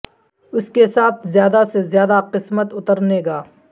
اس کے ساتھ زیادہ سے زیادہ قسمت اترنے گا